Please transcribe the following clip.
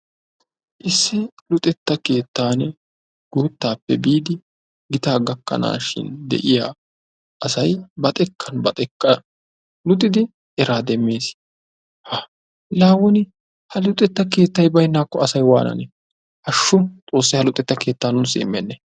Issi luxetta keettan guuttaappe biidi giitaa gakanaashin de'iyaa aasay ba xeekkan ba xeekkan luxxidi eraa demmees. la woni ha luxetta keettay baynaakko asay wananee? haashu xoossay ha luxetta keetta nuussi imennee?